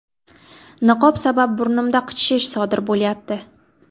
Niqob sabab burnimda qichishish sodir bo‘lyapti.